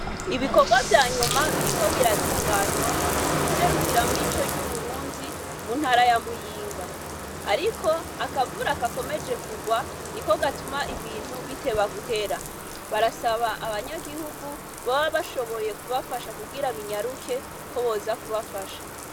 Ibikorwa vyanyuma biriko biratunganywa kw' iserukiramico ry' Uburundi, mu ntara ya Muyinga. Ariko, akavura gakomeje kurwa, niko batuma ibintu biteba guhera. Barasaba abanyagihugu, boba bashoboye kubafasha kugira binyaruke, ko boza kubafasha.